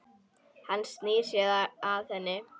Hann snýr sér að henni.